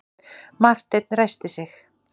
Marteinn ræskti sig.